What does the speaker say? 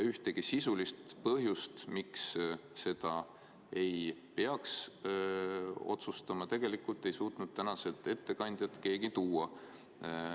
Ühtegi sisulist põhjust, miks seda ei peaks otsustama, ei suutnud tänased ettekandjad keegi välja tuua.